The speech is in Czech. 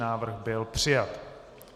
Návrh byl přijat.